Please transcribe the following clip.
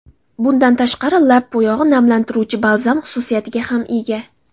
Bundan tashqari, lab bo‘yog‘i namlantiruvchi balzam xususiyatiga ham ega.